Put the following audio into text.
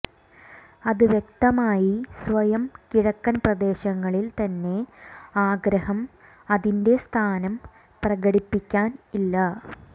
അത് വ്യക്തമായി സ്വയം കിഴക്കൻ പ്രദേശങ്ങളിൽ തന്നെ ആഗ്രഹം അതിന്റെ സ്ഥാനം പ്രകടിപ്പിക്കാൻ ഇല്ല